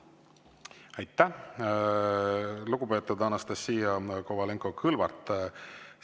Aitäh, lugupeetud Anastassia Kovalenko-Kõlvart!